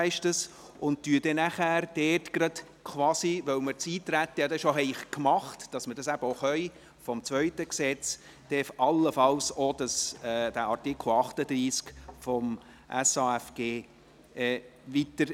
Weil wir über das Eintreten bereits befunden haben werden, damit wir das eben auch können, werden wir dann allenfalls auch über Artikel 38 des zweiten Gesetzes, des SAFG, befinden.